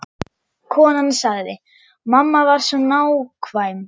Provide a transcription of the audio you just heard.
Konan sagði: Mamma var svo nákvæm.